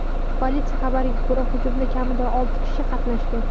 Politsiya xabariga ko‘ra, hujumda kamida olti kishi qatnashgan.